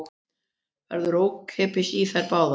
Verður ókeypis í þær báðar